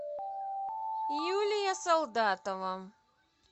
юлия солдатова